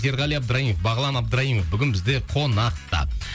ерғали абдраимов бағлан абдраимов бүгін бізде қонақта